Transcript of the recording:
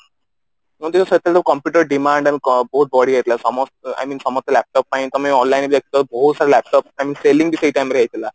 ଯେମତି କି ସେତେବେଳେ computer demand I mean ବହୁତ ବଢି ଯାଇଥିଲା ସମସ୍ତ I mean ସମସ୍ତେ laptop ପାଇଁ ତମେ online ବି ଦେଖିଥିବ ବହୁତ ସାରା laptop I mean selling ବି ସେଇ time ରେ ହେଇଥିଲା